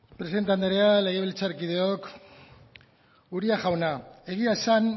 presidente andrea legebiltzarkideok uria jauna egia esan